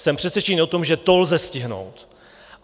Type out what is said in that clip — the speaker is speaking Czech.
Jsem přesvědčený o tom, že to lze stihnout.